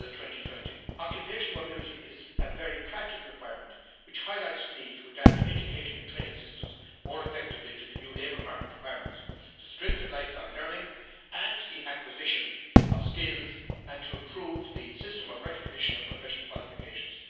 2020. Occupational mobility is a very practical requirement which highlights the need to adapt education and training systems more effectively to the new labour market requirements, to strengthen lifelong learning and the acquisition of skills, and to improve the system of recognition of professional qualifications.